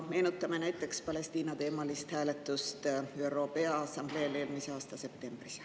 Meenutame näiteks Palestiina-teemalist hääletust ÜRO Peaassambleel eelmise aasta septembris.